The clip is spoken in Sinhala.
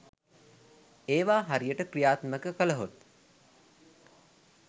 ඒවා හරියට ක්‍රියාත්මක කළ හොත්